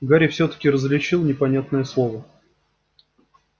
гарри всё-таки различил непонятное слово